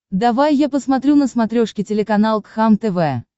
давай я посмотрю на смотрешке телеканал кхлм тв